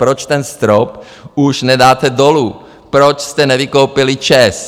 Proč ten strop už nedáte dolů, proč jste nevykoupili ČEZ?